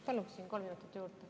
Palun kolm minutit juurde.